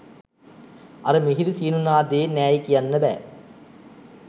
අර මිහිරි සීනු නාදයේ නෑයි කියන්න බෑ.